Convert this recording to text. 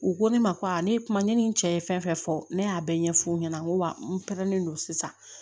U ko ne ma ko ne kuma ne ni n cɛ ye fɛn fɛn fɔ ne y'a bɛɛ ɲɛfu ɲɛna n ko wa n pɛrɛnnen don sisan